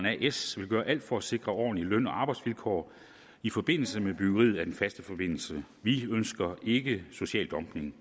as vil gøre alt for sikre ordentlige løn og arbejdsvilkår i forbindelse med byggeriet af den faste forbindelse vi ønsker ikke social dumping